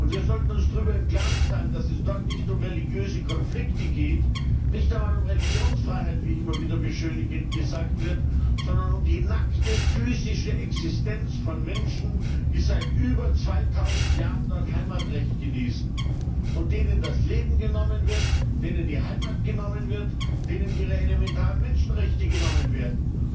Wir sollten uns darüber im Klaren sein, dass es dort nicht um religiöse Konflikte geht, nicht einmal um Religionsfreiheit, wie immer wieder beschönigend gesagt wird, sondern um die nackte physische Existenz von Menschen, die seit über zweitausend Jahren dort Heimatrecht genießen und denen das Leben genommen wird, denen die Heimat genommen wird, denen ihre elementaren Menschenrechte genommen werden.